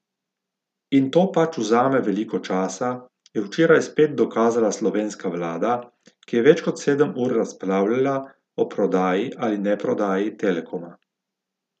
In to pač vzame veliko časa, je včeraj spet dokazala slovenska vlada, ki je več kot sedem ur razpravljala o prodaji ali neprodaji Telekoma.